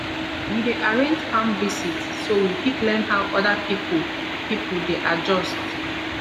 we dey arrange farm visit so we fit learn how other pipu pipu dey adjust